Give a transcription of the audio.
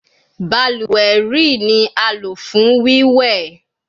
Baluwe rii ni a lo fun wíwẹ